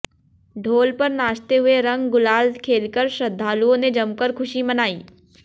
ढोल पर नाचते हुए रंग गुलाल खेलकर श्रद्धालुओं ने जमकर खुशी मनाई